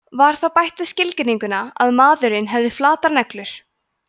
var þá bætt við skilgreininguna að maðurinn hefði flatar neglur